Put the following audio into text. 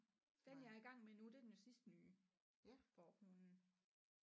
Den jeg er i gang med nu det er den jo sidste nye hvor hun